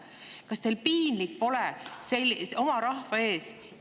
Kas teil piinlik pole oma rahva ees?